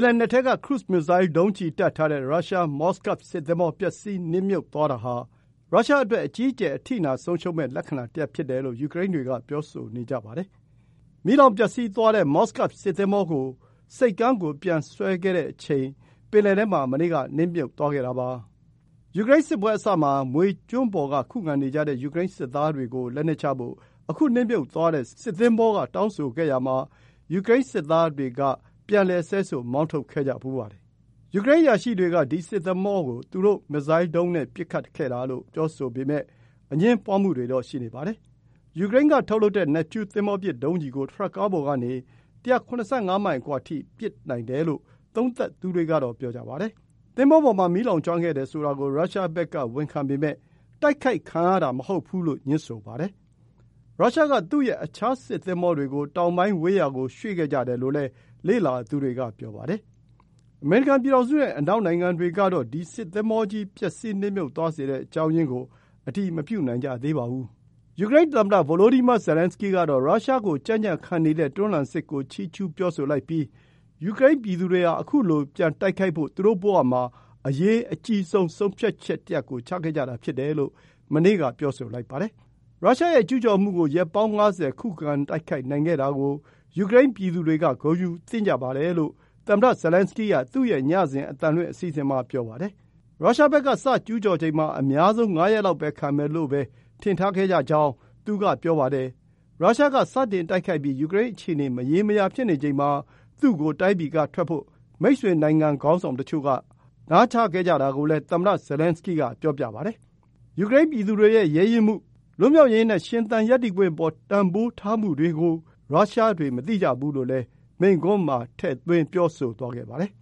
်လယ်နက်ထဲက ခရုဇ် မစ်ဇိုင်း ဒုံးကျည်တပ်ထားတဲ့ ရုရှား Moskav စစ်သင်္ဘော ပျက်စီးနစ်မြုပ်သွားတာဟာ ရုရှားအတွက် အကြီးအကျယ် အထိနာဆုံးရှုံးမယ့် လက္ခဏာတရပ် ဖြစ်တယ်လို့ ပြောဆိုနေကြပါတယ်။ မီးလောင်ပျက်စီးသွားတဲ့ Moskav စစ်သင်္ဘောကို ဆိပ်ကမ်းကိုပြန်ဆွဲတဲ့အချိန် ပင်လယ်ထဲမှာ မနေ့က နစ်မြုပ်သွားခဲ့တာပါ။ ယူကရိန်းစစ်ပွဲအစမှာ မြွေကျွန်းပေါ်က ခုခံနေကြတဲ့ ယူကရိန်းစစ်သားတွေကို လက်နက်ချဖို့ အခုနစ်မြုပ်သွားတဲ့ စစ်သင်္ဘောက တောင်းဆိုခဲ့ရာမှာ ယူကရိန်း စစ်သားတွေက ဆဲဆို မောင်းထုတ်ခဲ့ကြဖူးပါတယ်။ ယူကရိန်းအရာရှိတွေက ဒီစစ်သင်္ဘောကို သူတို့ မစ်ဇိုင်းဒုံးနဲ့ ပစ်ခတ်ခဲ့တာလို့ ပြောဆိုပေမဲ့ အငြင်းပွားမှုတွေ ရှိနေပါတယ်။ ယူကရိန်းကထုတ်လုပ်တဲ့ Neptune သင်္ဘောပစ် ဒုံးကျည်ကို ထရပ်ကားပေါ်ကနေ ၁၇၅ မိုင်အကွာထိ ပစ်နိုင်တယ်လို့ သုံးသပ်သူတွေကတော့ပြောပါတယ်။ သင်္ဘောပေါ်မှာ မီးလောင်ကျွမ်းခဲ့တယ်ဆိုတာကို ရုရှားဘက်က ဝန်ခံပေမယ့် တိုက်ခိုက်ခံရတာမဟုတ်ဘူးလို့ ငြင်းဆိုနေပါတယ်။ ရုရှားက သူ့ရဲ့ အခြားစစ်သင်္ဘောတွေကို တောင်ပိုင်းဝေးရာကို ရွှေ့ခဲ့တယ်လို့လည်း လေ့လာသူတွေကဆိုပါတယ်။ အမေရိကန် ပြည်ထောင်စုနဲ့ အနောက်နိုင်ငံတွေကတော့ ဒီ စစ်သင်္ဘောကြီး ပျက်စီးနစ်မြုပ်သွားစေတဲ့ အကြောင်းရင်းကို အတည်မပြုနိုင်ကြ သေးပါဘူး။ ယူကရိန်းသမ္မတ Volodymyr Zelenskyy ကတော့ ရုရှားကို ကြံ့ကြံခံနေတဲ့ တွန်းလှန်စစ်ကို ချီးကျုးပြောဆိုပြီး ယူကရိန်း ပြည်သူတွေဟာ အခုလိုပြန်တိုက်ဖို့ သူတို့ဘဝမှာ အရေးအကြီးဆုံး ဆုံးဖြတ်ချက်တရပ်ကို ချခဲ့ကြတာဖြစ်တယ်လို့ မနေ့က ပြောဆိုပါ တယ်။ ရုရှားကျုးကျော်မှုကို ရက်ပေါင်း ၅၀ ခုခံတိုက်ခိုက်နိုင်ခဲ့တာကို ယူကရိန်းပြည်သူတွေ ဂုဏ်ယူသင့်ကြပါတယ်လို့ သမ္မတ Zelenskyy က သူ့ရဲ့ ညစဉ် အသံလွှင့်အစီအစဉ်မှာ ပြောပါတယ်။ ရုရှားဘက်က စကျုးကျော်ချိန်မှာ အများဆုံး ၅ ရက်လောက်ပဲ ခံမယ်လို့ပဲ ထင်ထားခဲ့တယ်လို့လည်း သူကဆိုပါတယ်။ ရုရှားက စတင်တိုက်ခိုက်ပြီး ယူကရိန်းအခြေအနေ မရေမရာဖြစ်နေချိန်မှာ သူ့ကို တိုင်းပြည်ကထွက်ဖို့ မိတ်ဆွေနိုင်ငံ ခေါင်းဆောင်တချို့က နားချခဲ့တာကိုလည်း သမ္မတ Zelenskyy က ပြောပါတယ်။ ယူကရိန်းပြည်သူ တွေရဲ့ ရဲရင့်မှု၊ လွတ်မြောက်ရေးနဲ့ ရှင်သန်ရပ်တည်ခွင့်အပေါ် တန်ဖိုးထားမှုတွေကို ရုရှားတွေ မသိကြဘူးလို့လည်း မိန့်ခွန်းမှာ ထည့်သွင်း ပြောဆိုသွားပါတယ်